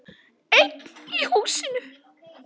Einn í húsinu.